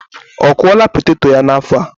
Ọ kụla poteto ya n'afo a?